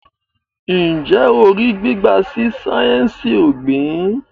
Njé o rí gbígba sí sáyẹnsì ogbin?